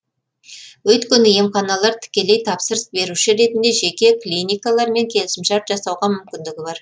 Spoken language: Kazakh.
өйткені емханалар тікелей тапсырыс беруші ретінде жеке клиникалармен келісімшарт жасауға мүмкіндігі бар